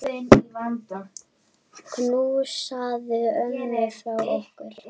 Knúsaðu ömmu frá okkur.